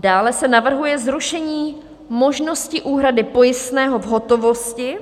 Dále se navrhuje zrušení možnosti úhrady pojistného v hotovosti